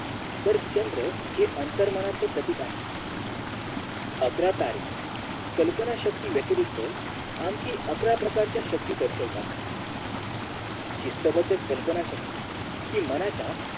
तर चंद्र हे अंतर्मन च्या प्रतिबिंब आहे अकरा तारे कल्पना शक्ती व्यतिरिक्त आणखीन अकरा प्रकारे शक्ती दर्शवतात शिस्तबद्ध कल्पना शक्ती हि मनाच्या